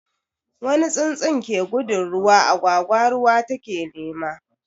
Wani tsuntsu ke gudun ruwa, agwagwa ruwa take nema.